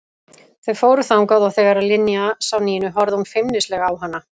Þau fóru þangað og þegar Linja sá Nínu horfði hún feimnislega á hana.